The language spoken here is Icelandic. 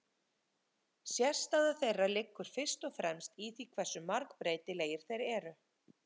Sérstaða þeirra liggur fyrst og fremst í því hversu margbreytilegir þeir eru.